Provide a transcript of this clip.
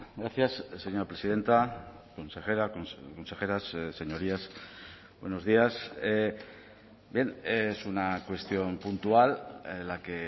gracias señora presidenta consejera consejeras señorías buenos días bien es una cuestión puntual la que